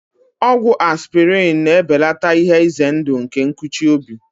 Ọgwụ aspịrịn na-ebelata ihe ize ndụ nke nkụchi obi.